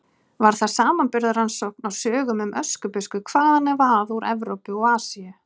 Var það samanburðarrannsókn á sögum um Öskubusku hvaðanæva að úr Evrópu og Asíu.